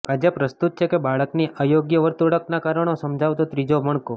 આજે પ્રસ્તુત છે બાળકની અયોગ્ય વર્તણુંકના કારણો સમજાવતો ત્રીજો મણકો